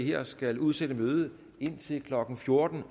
her skal udsætte mødet indtil klokken fjorten